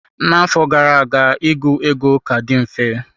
Na-afọ gara aga ịgụ ego ka dị mfe.